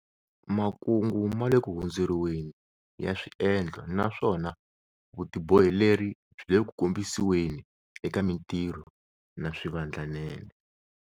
Makungu ma le ku hundzuriweni ya swiendlo naswona vutiboheleri byi le ku kombisiweni eka mitirho na swivandlanene.